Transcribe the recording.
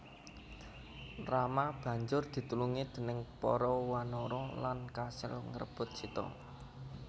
Rama banjur ditulungi déning para wanara lan kasil ngrebut Sita